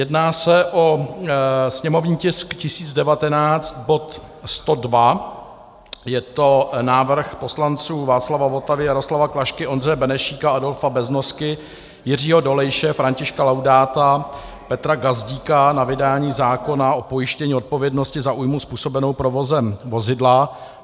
Jedná se o sněmovní tisk 1019, bod 102, je to návrh poslanců Václava Votavy, Jaroslava Klašky, Ondřeje Benešíka, Adolfa Beznosky, Jiřího Dolejše, Františka Laudáta, Petra Gazdíka na vydání zákona o pojištění odpovědnosti za újmu způsobenou provozem vozidla.